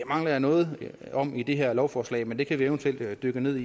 mangler jeg noget om i det her lovforslag men det kan vi eventuelt dykke ned